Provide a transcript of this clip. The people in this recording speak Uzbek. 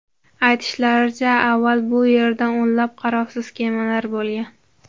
Aytishlaricha, avval bu yerda o‘nlab qarovsiz kemalar bo‘lgan.